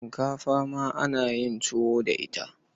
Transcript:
Shinkafa ma ana yin tuwo da ita.